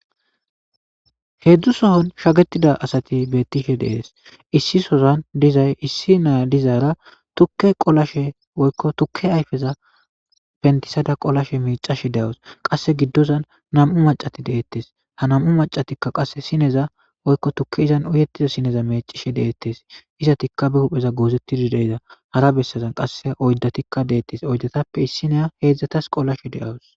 heedzdzu sohon shagetida asati beettishe deees issi sozan dizay issi naa dizaara tukke qolashe woykko tukke ayfeza pentisada qolashe micashe de7awus qasse giddozan nam7u macati deettes ha namu macatikka qasse sineza woykko tukke izan uyettiza sineza mecishe deettes iza tikkabe hupheza goozettidi deiza hara bessazan qasse oyddatikka deettes oyddatappe issineya heedzdzatas qolashe de7awus